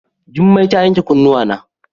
Jummai ta yanke kunnuwana.